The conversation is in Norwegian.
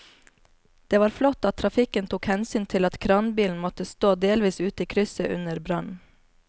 Det var flott at trafikken tok hensyn til at kranbilen måtte stå delvis ute i krysset under brannen.